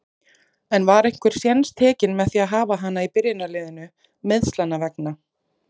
En var einhver séns tekinn með að hafa hana í byrjunarliðinu, meiðslanna vegna?